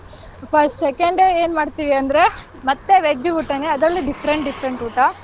Second day ಏನ್ ಮಾಡ್ತೀವಿ ಅಂದ್ರೆ ಮತ್ತೆ veg ಊಟನೇ ಅದ್ರಲ್ಲಿ different different ಊಟ.